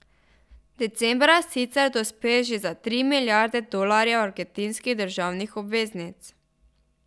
Decembra sicer dospe še za tri milijarde dolarjev argentinskih državnih obveznic.